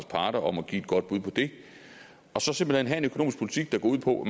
parter om at give et godt bud på det og så simpelt hen at have en økonomisk politik der gå ud på